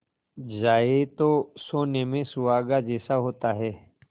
जाए तो सोने में सुहागा जैसा होता है